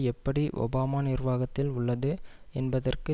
எப்படி ஒபாமா நிர்வாகத்தில் உள்ளது என்பதற்கு